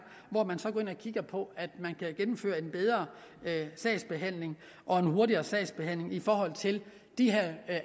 hvor man så går ind og kigger på at man kan gennemføre en bedre sagsbehandling og hurtigere sagsbehandling i forhold til de her